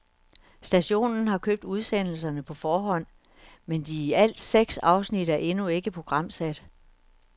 Stationen har købt udsendelserne på forhånd, men de i alt seks afsnit er endnu ikke programsat.